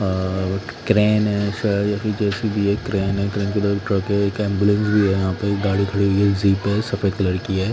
अ crane है शायद या फिर जे_सी_बी है क्रेन है क्रेन की दो ट्रक है एक एम्बुलेंस भी है यहाँ पे एक गाडी खड़ी हुई है ज़िप है सफेद कलर की है।